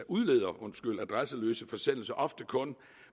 udleder adresseløse forsendelser ofte kun